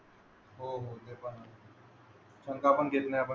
आहेत. सागा पण. त्यामुळे ओले